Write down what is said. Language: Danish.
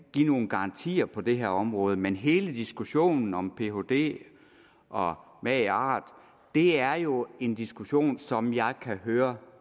give nogen garantier på det her område men hele diskussionen om phd og magart er jo en diskussion som jeg kan høre